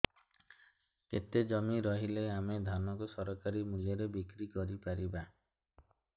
କେତେ ଜମି ରହିଲେ ଆମେ ଧାନ କୁ ସରକାରୀ ମୂଲ୍ଯରେ ବିକ୍ରି କରିପାରିବା